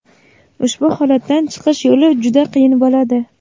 Ushbu holatdan chiqish yo‘li juda qiyin bo‘ladi.